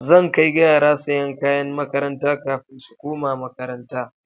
Zan kai yara siyan kayan makaranta kafin su koma makaranta